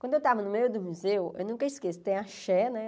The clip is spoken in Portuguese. Quando eu estava no meio do museu, eu nunca esqueço, tem a Xé, né?